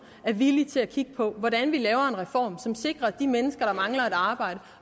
er villig til at kigge på hvordan vi laver en reform som sikrer at de mennesker der mangler et arbejde